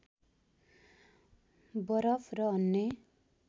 बरफ र अन्य